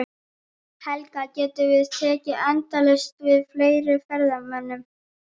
Helga, getum við tekið endalaust við fleiri ferðamönnum?